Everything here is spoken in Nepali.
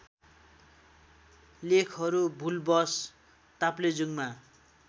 लेखहरू भूलवश ताप्लेजुङमा